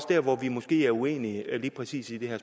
der hvor vi måske er uenige lige præcis i det her